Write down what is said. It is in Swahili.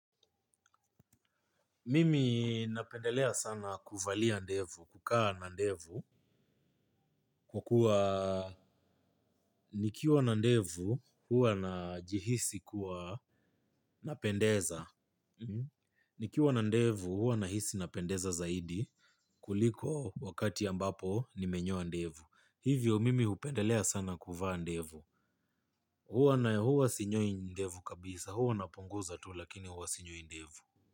Mimi napendelea sana kuvalia ndevu, kukaa na ndevu, kukua nikiwa na ndevu huwa na jihisi kuwa napendeza. Nikiwa na ndevu huwa na hisi napendeza zaidi kuliko wakati ambapo nimenyoa ndevu. Hivyo mimi upendelea sana kuvaa ndevu. Hua sinyoi ndevu kabisa hua napunguza tu lakini hua sinyoi ndevu.